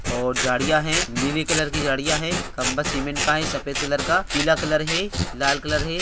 और जड़ियाँ है नीले कलर की जड़ियाँ है खम्भा सीमेंट का है सफ़ेद कलर पीला कलर है लाल कलर है।